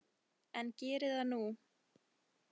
En geri það nú.